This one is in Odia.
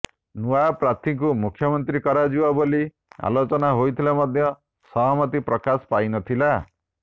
ନୂଆ ପ୍ରାର୍ଥୀଙ୍କୁ ମୁଖ୍ୟମନ୍ତ୍ରୀ କରାଯିବ ବୋଲି ଆଲୋଚନା ହୋଇଥିଲେ ମଧ୍ୟ ସହମତି ପ୍ରକାଶ ପାଇନଥିଲା